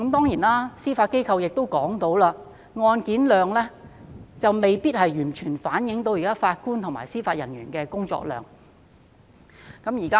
此外，司法機構亦表示，案件量未必完全反映法官及司法人員現時的工作量。